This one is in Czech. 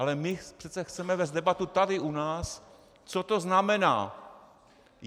Ale my přece chceme vést debatu tady u nás, co to znamená.